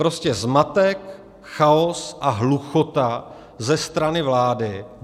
Prostě zmatek, chaos a hluchota ze strany vlády.